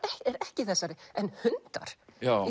ekki í þessari en hundar